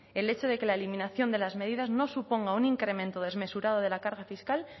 el hecho de que la eliminación de las medidas no suponga un incremento desmesurado de la carga fiscal